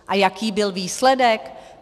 A jaký byl výsledek?